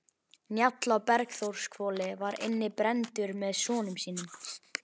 Njáll á Bergþórshvoli var inni brenndur með sonum sínum.